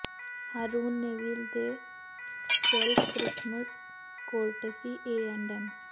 Haroon Neville ਦੇ ਸੌਲਫ਼ Christmas courtesy A and M